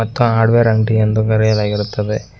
ಮತ್ತ ಹಾರ್ಡವೇರ್ ಅಂಗಡಿ ಎಂದು ಕರೆಯಲಾಗಿರುತ್ತದೆ.